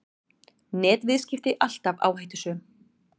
Netviðskipti alltaf áhættusöm